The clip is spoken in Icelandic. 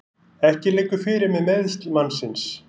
Ekki liggur fyrir með meiðsl mannsins